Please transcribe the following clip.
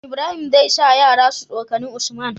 Ibrahim zai sa yara su tsokani usman